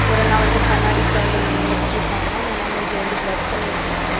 ஒரு அண்ணா வந்து கண்ணாடி கிட்ட வந்து நின்னுட்ருக்காங்க அந்த அண்ணா மூஞ்சி வந்து பிளர் பண்ணி வச்சிருக்காங்க.